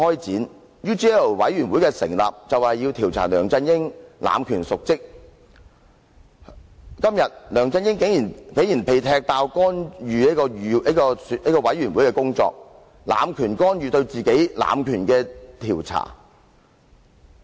成立專責委員會的目的是要調查梁振英濫權瀆職，今天梁振英竟然被"踢爆"干預專責委員會的工作，濫權干預對自己濫權的調查。